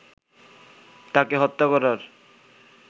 তাকে হত্যা করার